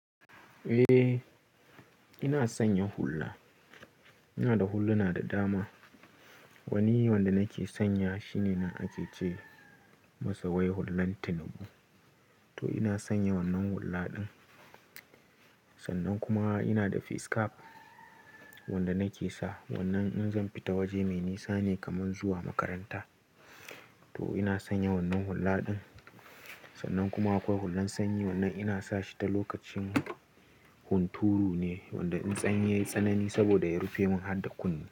Eh, ina sanya hula. Ina da huluna da dama. Wani wanda nake sanya shine na ake ce masa wai hullen tinubu. To ina sanya wannan hulla din. Sannan kuma ina da face cap wanda nake sa wannan in zan fita waje mai nisa ne kamar zuwa makaranta. To ina sanya wannan hulla din. Sannan kuma akwai hullen sanyi wannan ina sa shi ta lokacin hunturu ne wanda in sanyi ya yi tsanani saboda ya rufe mun har da kunne.